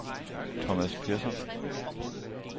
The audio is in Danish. Thomas Persson